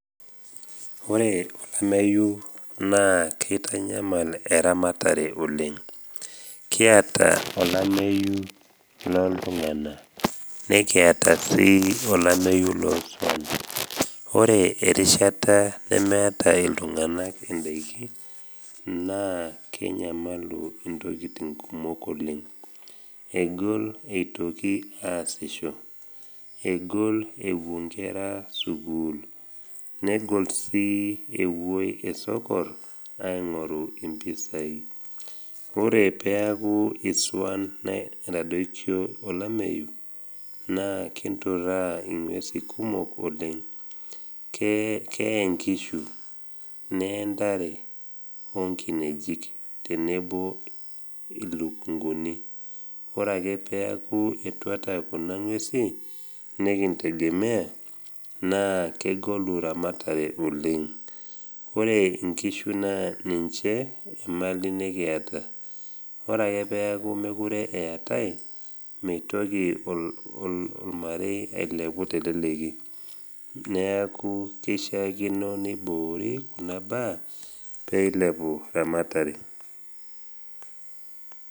Ore olameyu naa keitanyamal eramatare oleng. Kiata olameyu loltung’ana nekiata sii olameyu loswan. Ore erishata nemeata iltung’ana indaiki naa kenyamalu intokitin kumok oleng, egol eitoki aasisho, egol ewuo inkera sukuul negol sii ewoi esokor aing’oru impisai. Ore peaku iswan etadoikio olameyu, naa kinturaa ing’uesi kumok oleng, kee inkishu, nee intare onkinejik, tenebo ilukunguni. Ore ake peaku etuata kuna ng’uesi nekintegemea, naa kegolu ramatare oleng. Ore inkishu naa ninche emali nekiata, ore ake peaku mekure eatai, meitoki olmarei ailepu teleleki. Neaku keishaakino neiboori kuna baa peilepu ramatare.